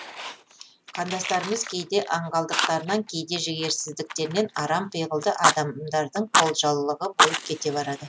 қандастарымыз кейде аңғалдықтарынан кейде жігерсіздіктерінен арам пиғылды адамдардың қолжаулығы болып кете барады